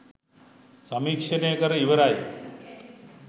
සමීක්ෂණය කර ඉවරයි